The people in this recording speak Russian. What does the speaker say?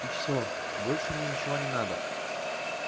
и всё больше мне ничего не надо